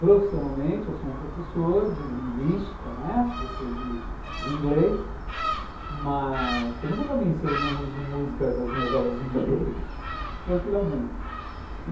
Profissionalmente, eu sou um professor de linguística, né, sou professor de inglês, mas pergunta para mim se eu não uso música nas minhas aulas de inglês, tranquilamente.